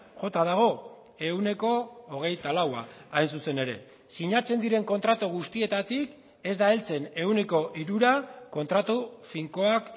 jota dago ehuneko hogeita laua hain zuzen ere sinatzen diren kontratu guztietatik ez da heltzen ehuneko hirura kontratu finkoak